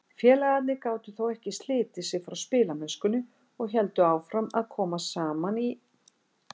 Félagarnir gátu þó ekki slitið sig frá spilamennskunni og héldu áfram að koma saman í